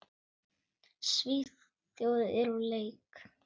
Svíþjóð er úr leik.